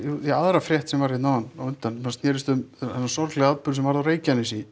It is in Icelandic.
ja aðra frétt sem var hérna áðan á undan sem snérist um þennan sorglega atburð sem varð á Reykjanesi